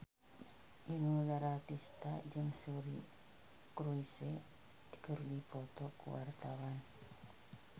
Inul Daratista jeung Suri Cruise keur dipoto ku wartawan